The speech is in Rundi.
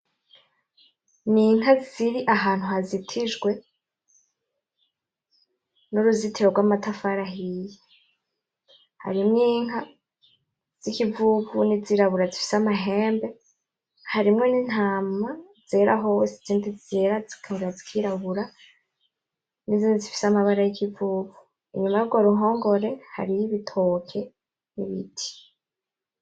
N' inka ziri ahantu hajitijwe n' uruzitiro rw' amatafari ahiye harimwo inka zikivuvu ni zirabura zifise amahembe harimwo n' intama zera hose nizindi zera zikongera zikirabura nizindi zifise amabara y' ikivuvu inyuma yurwo ruhongore hariyo ibitoke n' ibiti.